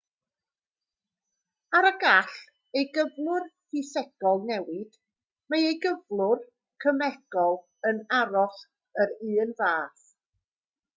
er y gall ei gyflwr ffisegol newid mae ei gyflwr cemegol yn aros yr un fath